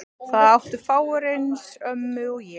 Það áttu fáir eins ömmu og ég.